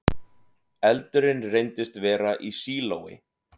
Eldurinn reyndist vera í sílói